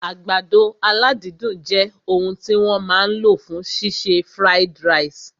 Àgbàdo aládídùn jẹ òun tí wọ́n máa lò fún ṣíṣe fried ìrẹsì